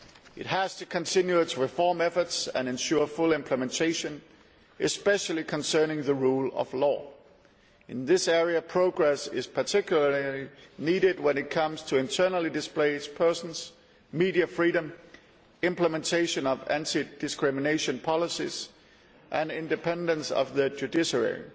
It has to continue its reform efforts and ensure full implementation, especially concerning the rule of law. Progress in this area is particularly needed when it comes to internally displaced persons, media freedom, implementation of anti discrimination policies and independence of the judiciary.